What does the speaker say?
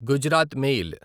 Gujarat mail